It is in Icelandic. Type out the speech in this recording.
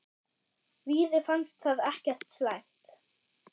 Víði fannst það ekkert slæmt.